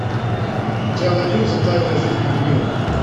у тебя найдется тайная жизнь пингвинов